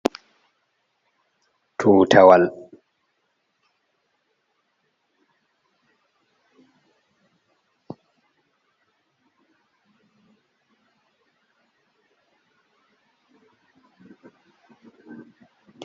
tuuta wal